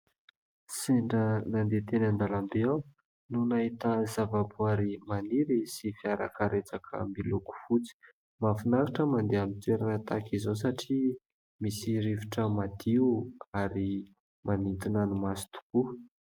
Sendra nandeha teny an-dalambe aho no nahita zavaboary maniry sy fiarakaretsaka miloko fotsy. Mahafinaritra mandeha amin'ny toerana tahaka izao satria misy rivotra madio ary manintona ny maso tokoa.